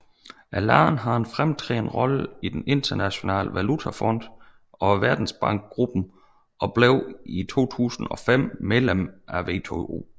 Landet har en fremtrædende rolle i den Internationale Valutafond og Verdensbankgruppen og blev i 2005 medlem af WTO